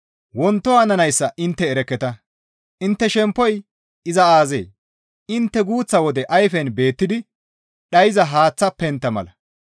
Wonto hananayssa intte erekketa; intte shemppoy iza aazee? Intte guuththa wode ayfen beettidi dhayza haaththa pentta mala.